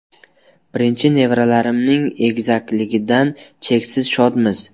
Birinchi nevaralarimning egizakligidan cheksiz shodmiz.